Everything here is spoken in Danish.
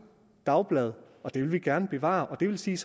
dagblad og det vil vi gerne bevare det vil sige